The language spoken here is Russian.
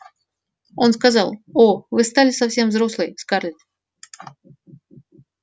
он сказал о вы стали совсем взрослой скарлетт